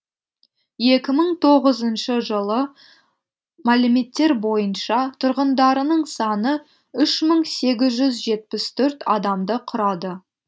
екі мың тоғызыншы жылы мәліметтер бойынша тұрғындарының саны үш мың сегіз жүз жетпіс төрт адамды құрады